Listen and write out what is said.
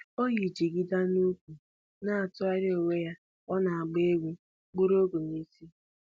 O yi jigida n'ukwu na-atụgharị onwe ya ka ọ na-agba egwu buru ọgụ n'isi